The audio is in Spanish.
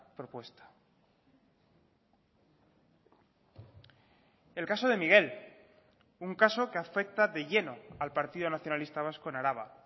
propuesta el caso de miguel un caso que afecta de lleno al partido nacionalista vasco en araba